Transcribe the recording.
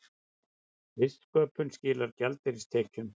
Listsköpun skilar gjaldeyristekjum